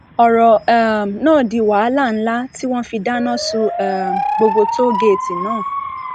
ọrọ um náà di wàhálà ńlá tí wọn fi dáná sun um gbogbo tóo géètì náà